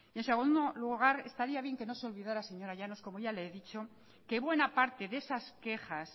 en segundo lugar estaría bien que no se olvidara señora llanos como ya le dicho que buena parte de esas quejas